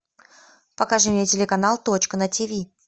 покажи мне телеканал точка на тиви